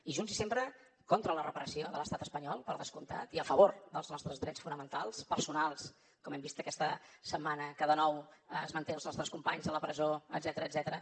i junts i sempre contra la repressió de l’estat espanyol per descomptat i a favor dels nostres drets fonamentals personals com hem vist aquesta setmana que de nou es manté els nostres companys a la presó etcètera